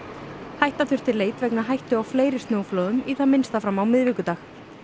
hætta þurfti leit vegna hættu á fleiri snjóflóðum í það minnsta fram á miðvikudag